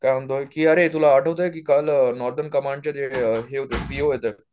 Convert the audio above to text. अरे तुला आठवतंय की काल सीओ येतायेत.